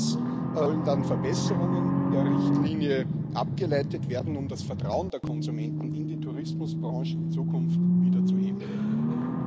Daraus sollen dann Verbesserungen der Richtlinie abgeleitet werden, um das Vertrauen der Konsumenten in die Tourismusbranche in Zukunft wieder zu erhöhen.